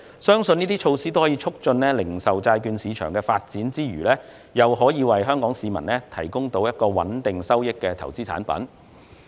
相信這些措施在促進零售債券市場發展之餘，亦可為香港市民增添一種可提供穩定收益的投資產品。